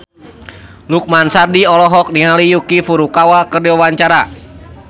Lukman Sardi olohok ningali Yuki Furukawa keur diwawancara